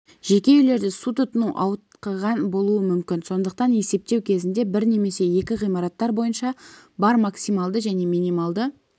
жеке үйлерде су тұтыну ауытқыған болуы мүмкін сондықтан есептеу кезінде бір немесе екі ғимараттар бойынша бар максималды және минималды